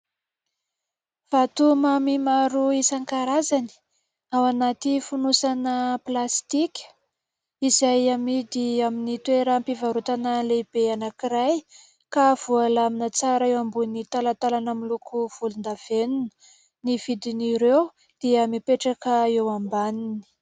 Vatomamy maro isan-karazany, ao anaty fonosana plastika izay amidy amin'ny toeram-pivarotana lehibe anankiray ka voalamina tsara eo ambony talantalana miloko volondavenona. Ny vidin'ireo dia mipetraka eo ambaniny.